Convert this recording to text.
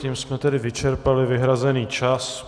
Tím jsme tedy vyčerpali vyhrazený čas.